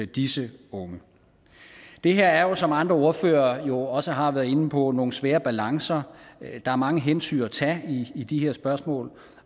disse unge det her er jo som andre ordførere også har været inde på nogle svære balancer der er mange hensyn at tage i de her spørgsmål